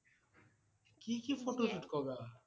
কি কি photoshoot কৰা